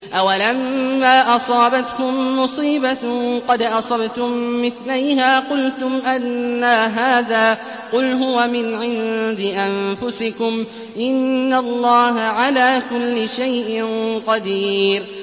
أَوَلَمَّا أَصَابَتْكُم مُّصِيبَةٌ قَدْ أَصَبْتُم مِّثْلَيْهَا قُلْتُمْ أَنَّىٰ هَٰذَا ۖ قُلْ هُوَ مِنْ عِندِ أَنفُسِكُمْ ۗ إِنَّ اللَّهَ عَلَىٰ كُلِّ شَيْءٍ قَدِيرٌ